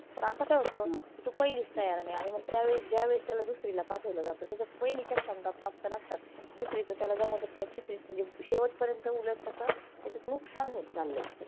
पण आता काय होतं तु पहिलीच तयार नाही आणि मग त्यावेळेस ज्यावेळेस त्याला दुसरीला पाठवल जातं. त्याच्यात पहिलीच्या क्षमता प्राप्त नसतात. दुसरीच त्याला जमतच नाही, तीसरीत म्हणजे शेवट पर्यंत उलट त्याचा त्याच्यात नकसान होत चाललय.